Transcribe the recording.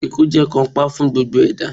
Ikú jẹ́ kànńpá fún gbogbo ẹ̀dá